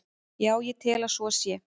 Já, ég tel að svo sé.